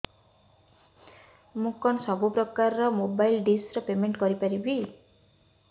ମୁ କଣ ସବୁ ପ୍ରକାର ର ମୋବାଇଲ୍ ଡିସ୍ ର ପେମେଣ୍ଟ କରି ପାରିବି